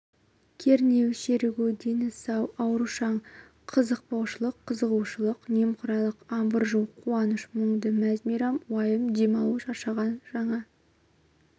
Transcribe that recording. кернеу серігу дені сау аурушаң қызықпаушылық қызығушылық немқұрайлық абыржу қуаныш мұңды мәз-мейрам уайым демалу шаршаған жаңа